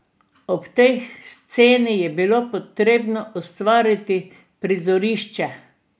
In tej sceni je bilo potrebno ustvariti prizorišče.